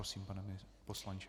Prosím, pane poslanče.